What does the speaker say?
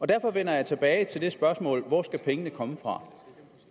derfor vender jeg tilbage til det spørgsmål hvor skal pengene komme fra